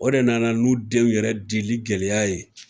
O de nana n'u denw yɛrɛ dili gɛlɛya ye